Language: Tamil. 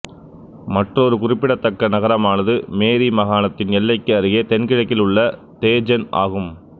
மற்றொரு குறிப்பிடத்தக்க நகரமானது மேரி மாகாணத்தின் எல்லைக்கு அருகே தென்கிழக்கில் உள்ள தேஜென் ஆகும்